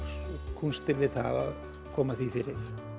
kúnstir við það að koma því fyrir